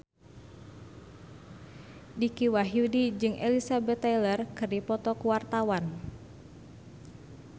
Dicky Wahyudi jeung Elizabeth Taylor keur dipoto ku wartawan